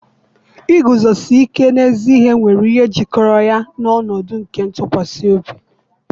iguzosi ike n'ezi ihe nwere ihe jikọrọ ya na ọnọdụ nke ntụkwasị obi.